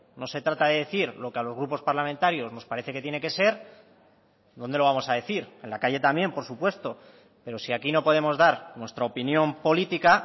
no se trata de decir lo que a los grupos parlamentarios nos parece que tiene que ser dónde lo vamos a decir en la calle también por supuesto pero si aquí no podemos dar nuestra opinión política